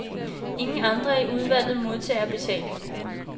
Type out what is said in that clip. Ingen andre i udvalget modtager betaling.